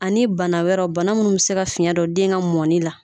Ani bana wɛrɛw bana munnu bi se ka fiɲɛ don den ka mɔni la